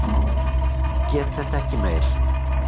Get þetta ekki meir.